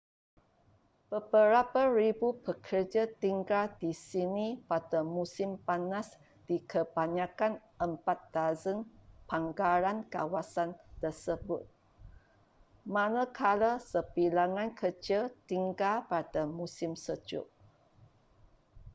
beberapa ribu pekerja tinggal di sini pada musim panas di kebanyakan empat dozen pangkalan kawasan tersebut manakala sebilangan kecil tinggal pada musim sejuk